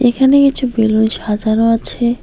এখানে কিছু বেলুন সাজানো আছে।